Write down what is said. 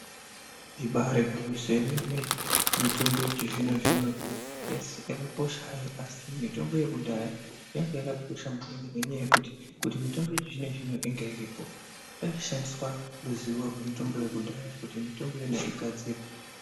Ibari gwinyiso remene mitombo yechizvino zvino yakakosha asi mitombo yekudhaya yanga yakakosha maningi ngekuti kuti mitombo yechizvino zvino inga iripo paishandiswa ruzivo yemitombo yekudhaya kuti mitombo iyona igadzirwe.